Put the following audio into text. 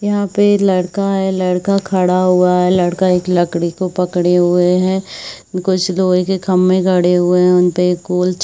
यहाँ पे लड़का है लड़का खड़ा हुआ है लड़का एक लकड़ी को पकडे हुए है कुछ लोहे के खम्बे गड़े हुए है उनपे गोल छ--